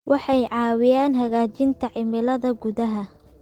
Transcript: Waxay caawiyaan hagaajinta cimilada gudaha.